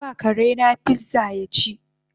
Karkaba karena pizza yaci